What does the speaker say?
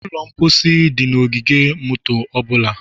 Ụlọ mposi dị na ogige moto ọ bụla